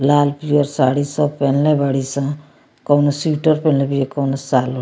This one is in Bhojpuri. लाल-पियर साड़ी सब पेहेनले बाड़ी सन कवनो स्वेटर पहिनले बीया कवनो शॉल औ --